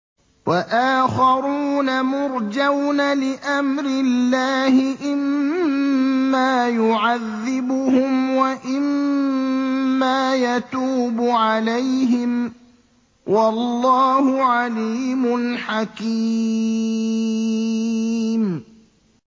وَآخَرُونَ مُرْجَوْنَ لِأَمْرِ اللَّهِ إِمَّا يُعَذِّبُهُمْ وَإِمَّا يَتُوبُ عَلَيْهِمْ ۗ وَاللَّهُ عَلِيمٌ حَكِيمٌ